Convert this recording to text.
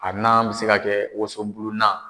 A nan bɛ se ka kɛ wosobulunan.